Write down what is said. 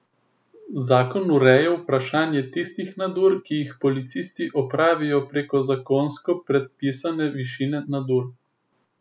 Zakon ureja vprašanje tistih nadur, ki jih policisti opravijo preko zakonsko predpisane višine nadur.